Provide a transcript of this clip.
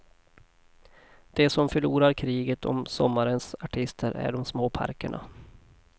De som förlorar kriget om sommarens artister är de små parkerna.